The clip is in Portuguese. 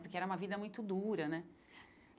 Porque era uma vida muito dura, né?